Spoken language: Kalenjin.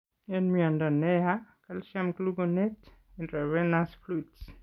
En mnyondo neyaa , calcium gluconate , intravenous fluids